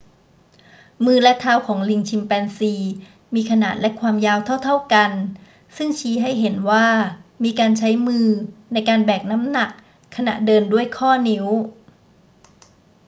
มือและเท้าของลิงชิมแปนซีมีขนาดและความยาวเท่า ๆ กัน ซึ่งชี้ให้เห็นว่ามีการใช้มือในการแบกน้ำหนักขณะเดินด้วยข้อนิ้ว